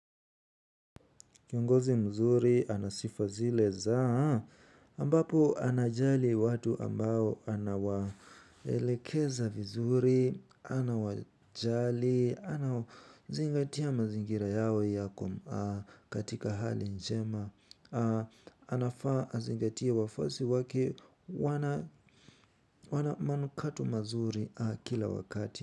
Kiongozi mzuri, ana sifa zile za, ambapo anajali watu ambao anawaelekeza vizuri, anawajali, anawazingatia mazingira yao yako katika hali njema, anafaa azingatie wafuasi wake wana manukato mazuri kila wakati.